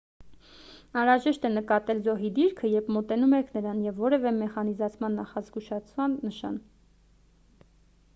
անհրաժեշտ է նկատել զոհի դիրքը երբ մոտենում եք նրան և որևէ մեխանիզացված նախազգուշական նշան